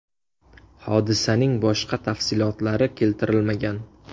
Hodisaning boshqa tafsilotlari keltirilmagan.